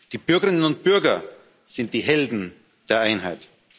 Die Bürgerinnen und Bürger sind die Helden der Einheit.